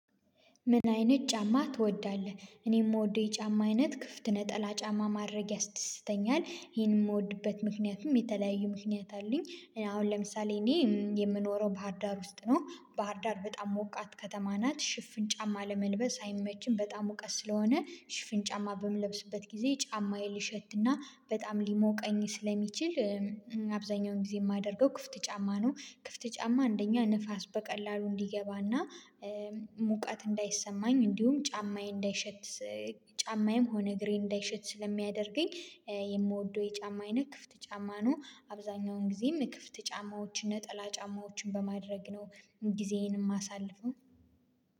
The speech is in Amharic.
ምን አይነት ጫማ ትወዳለህ? እኔ የምወደው የጫማ አይነት ክፍት ነጠላ ጫማ ማድረግ ያስደስተኛል ይሄን የምወድበት ምክንያቱም የተለያዩ ምክንያት አለኝ። አሁን ለምሳሌ እኔ የምኖረው ባህርዳር ውስጥ ነው ባህር ዳር በጣም ሞቃት ከተማ ናት ሽፍን ጫማ ለመልበስ አይመችም። በጣም ወቀት ስለሆነ ሽፍን ጫማ በምለብስበት ጊዜ ጫማዬን ሊሸትና በጣም ሊሞቀኝ ስለሚችል። አብዛኛውን ጊዜ የማደርገው ክፍት ጫማ ነው። ክፍት ጫማ አንደኛ ንፋስ በቀላሉ እንዲገባና ሙቃት እንዳይሰማኝ እንዲሁም ጫማዬ እንዳይሸት ጫማዬም ሆነ እግሬ እንዳይሸት ስለሚያደርገኝ። የምወደው የጫማዬ አይነት ክፍት ጫማ ነው። አብዛኛውን ጊዜም ክፍት ጫማዎችን ነጠላ ጫማዎችን በማድረግ ነው። ጊዜዬን ማሳልው